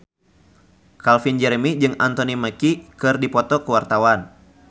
Calvin Jeremy jeung Anthony Mackie keur dipoto ku wartawan